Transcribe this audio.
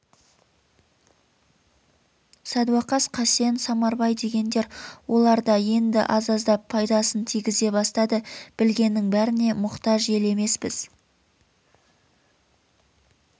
садуақас қасен самарбай дегендер олар да енді аз-аздап пайдасын тигізе бастады білгеннің бәріне мұқтаж ел емеспіз